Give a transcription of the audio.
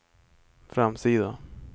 framsida